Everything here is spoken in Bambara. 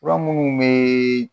Fura minnu bɛ